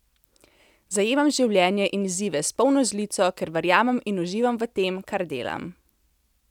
Zajemam življenje in izzive s polno žlico, ker verjamem in uživam v, tem kar delam.